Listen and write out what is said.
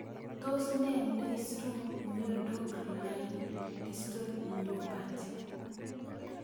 Tos ne neicyru miondoc Laing distal myopathy